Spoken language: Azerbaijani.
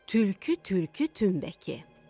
Tülkü tülkü tümbəki.